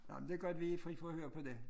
Nå men det godt vi fri for at høre på det